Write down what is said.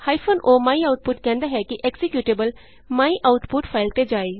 o my output ਕਹਿੰਦਾ ਹੈ ਕਿ ਐਕਜ਼ੀਕਯੂਟੇਬਲ ਮਾਇਆਉਟਪੁਟ ਫਾਈਲ ਤੇ ਜਾਏ